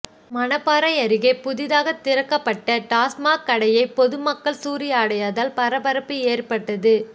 மணப்பாறையை அருகே புதிதாக திறக்கப்பட்ட டாஸ்மாக் கடையை பொதுமக்கள் சூறையாடியதால் பரபரப்பு ஏற்பட்டது